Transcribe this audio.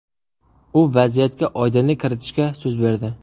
U vaziyatga oydinlik kiritishga so‘z berdi.